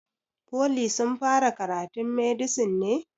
Foli sun fara karatun medisin ne?